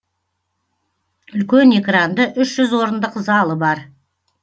үлкен экранды үш жүз орындық залы бар